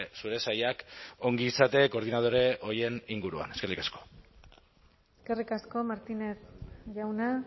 zure sailak ongizate koordinadore horien inguruan eskerrik asko eskerrik asko martínez jauna